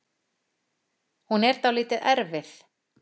Hún er dálítið erfið